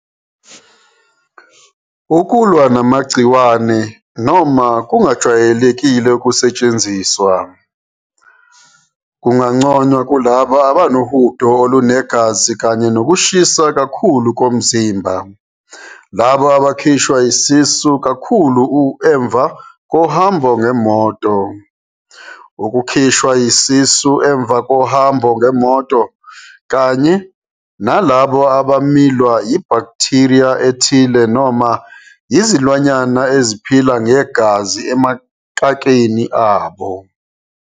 Okulwa namagciwane, noma kungajwayele ukusetshenziswa, kunganconywa kulabo abanohudo olunegazi kanye nokushisa kakhulu komzimba, labo abakhishwa isisu kakhulu emva kohambo ngemotoukukhishwa yisisu emva kohambo ngemoto, kanye nalabo abamilwa yibhakutheriya ethile noma izilwanyana eziphila ngegazi emakakeni abo.